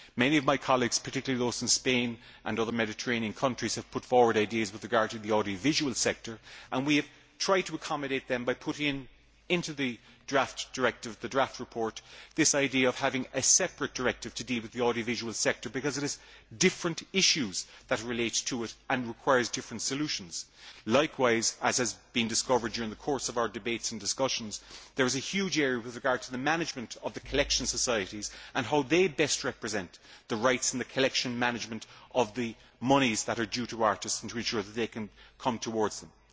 Many of my colleagues, particularly those from Spain and other Mediterranean countries, have put forward ideas with regard to the audiovisual sector, and we have tried to accommodate them by putting into the draft report this idea of having a separate directive to deal with the audiovisual sector, because it has different issues that relate to it and requires different solutions. Likewise, as has been discovered during the course of our debates and discussions, there is a huge area with regard to the management of the collection societies and how they best represent the rights and the collection management of the monies that are due to artists to ensure that they can come towards them.